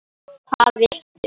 Hvað viltu?